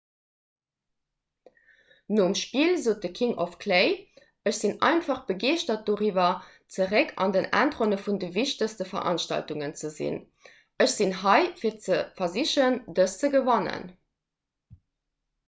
nom spill sot de king of clay ech sinn einfach begeeschtert doriwwer zeréck an den endronne vun de wichtegste veranstaltungen ze sinn ech sinn hei fir ze versichen dëst ze gewannen